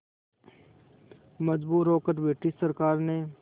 मजबूर होकर ब्रिटिश सरकार ने